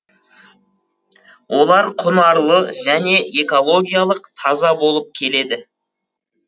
олар құнарлы және экологиялық таза болып келеді